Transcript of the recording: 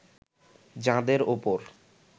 যাঁদের ওপর